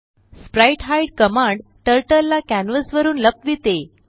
sprite hide command turtle ला canvas वरुन लपविते